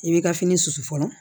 I bɛ ka fini susu fɔlɔ